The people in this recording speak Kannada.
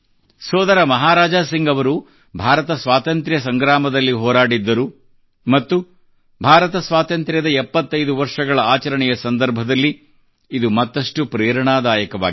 ಸೋದರ ಮಹಾರಾಜಾ ಸಿಂಗ್ ಅವರು ಭಾರತದ ಸ್ವಾತಂತ್ರ್ಯ ಸಂಗ್ರಾಮದಲ್ಲಿ ಹೋರಾಡಿದ್ದರು ಮತ್ತು ಭಾರತ ಸ್ವಾತಂತ್ರ್ಯದ 75 ವರ್ಷಗಳ ಆಚರಣೆಯ ಸಂದರ್ಭದಲ್ಲಿ ಇದು ಮತ್ತಷ್ಟು ಪ್ರೇರಣಾದಾಯಕವಾಗಿದೆ